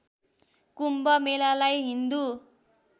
कुम्भ मेलालाई हिन्दु